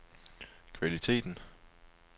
kvaliteten